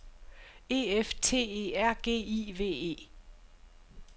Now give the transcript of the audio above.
E F T E R G I V E